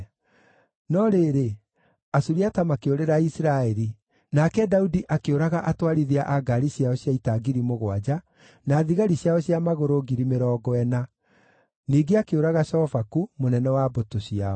No rĩrĩ, Asuriata makĩũrĩra Isiraeli, nake Daudi akĩũraga atwarithia a ngaari ciao cia ita ngiri mũgwanja, na thigari ciao cia magũrũ ngiri mĩrongo ĩna. Ningĩ akĩũraga Shofaku, mũnene wa mbũtũ ciao.